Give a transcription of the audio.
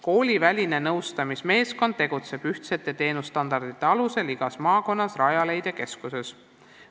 Kooliväline nõustamismeeskond tegutseb ühtsete teenusstandardite alusel igas maakonnas Rajaleidja keskuses.